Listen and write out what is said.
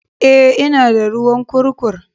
Eh, ina da ruwan kurkur